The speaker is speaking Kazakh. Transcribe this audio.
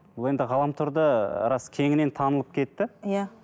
бұл енді ғаламторда рас кеңінен танылып кетті иә